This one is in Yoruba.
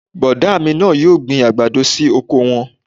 Bọ̀dá mi náà yóò gbin àgbàdo sí oko wọn